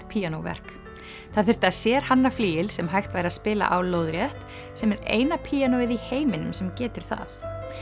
píanóverk það þurfti að sérhanna flygil sem hægt væri að spila á lóðrétt sem er eina píanóið í heiminum sem getur það